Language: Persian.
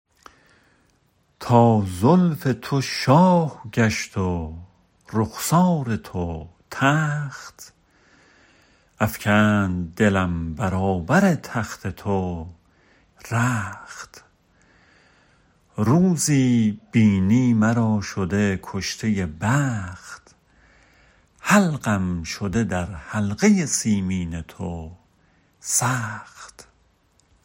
تا زلف تو شاه گشت و رخسار تو تخت افکند دلم برابر تخت تو رخت روزی بینی مرا شده کشته بخت حلقم شده در حلقه سیمین تو سخت